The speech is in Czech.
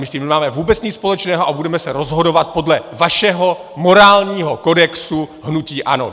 My s tím nemáme vůbec nic společného a budeme se rozhodovat podle vašeho morálního kodexu hnutí ANO.